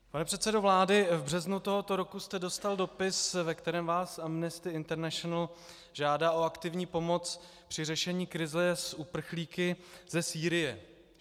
Pane předsedo vlády, v březnu tohoto roku jste dostal dopis, ve kterém vás Amnesty International žádá o aktivní pomoc při řešení krize s uprchlíky ze Sýrie.